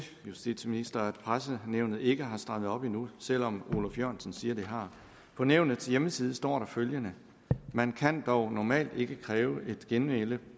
justitsministeren at pressenævnet ikke har strammet op endnu selv om oluf jørgensen siger det har på nævnets hjemmeside står der følgende man kan dog normalt ikke kræve et genmæle